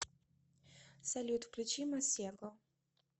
салют включи масего